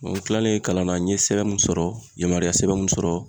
N kilalen kalan na n ye sɛbɛn mun sɔrɔ n yamaruya sɛbɛn mun sɔrɔ.